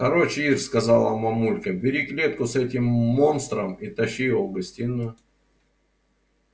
короче ир сказала мамулька бери клетку с этим монстром и тащи его в гостиную